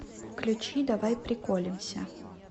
включи давай приколемся